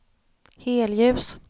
helljus